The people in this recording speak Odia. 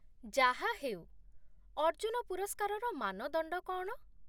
ଯାହାହେଉ, ଅର୍ଜୁନ ପୁରସ୍କାରର ମାନଦଣ୍ଡ କ'ଣ?